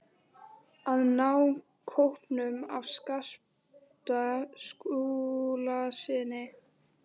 AÐ NÁ KÓPNUM AF SKAPTA SKÚLASYNI.